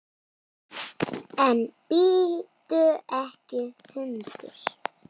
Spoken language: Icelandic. En bíttu ekki hundur!